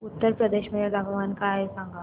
उत्तर प्रदेश मध्ये तापमान काय आहे सांगा